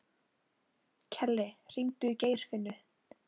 Kellý, hringdu í Geirfinnu.